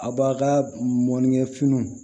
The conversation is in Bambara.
A b'a ka mɔnnikɛ finiw